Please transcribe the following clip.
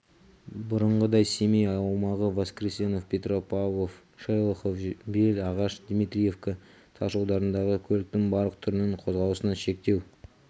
бұрынғыдай семей аумағы воскресенов петропавлов шелехов бел ағаш дмитриевка тас жолдарындағы көліктің барлық түрінің қозғалысына шектеу